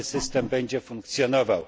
nowy system będzie funkcjonował.